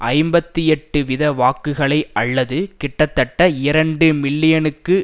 ஐம்பத்தி எட்டு வீத வாக்குகளை அல்லது கிட்டத்தட்ட இரண்டு மில்லியனுக்கு